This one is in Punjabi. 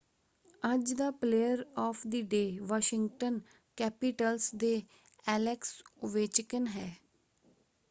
ਅੱਜ ਦਾ player of the day Washington Capitals ਦੇ ਐਲੈਕਸ ਓਵੇਚਕਿਨ ਹੈ।